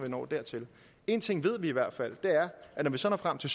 når dertil én ting ved vi i hvert fald og er at når vi så når frem til